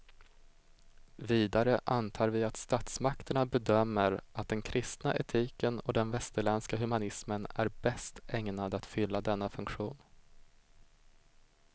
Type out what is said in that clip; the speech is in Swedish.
Vidare antar vi att statsmakterna bedömer att den kristna etiken och den västerländska humanismen är bäst ägnad att fylla denna funktion.